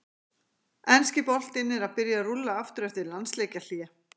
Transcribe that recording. Enski boltinn er að byrja að rúlla aftur eftir landsleikjahlé!